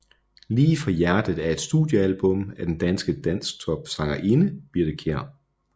Lige fra hjertet er et studiealbum af den danske dansktopsangerinde Birthe Kjær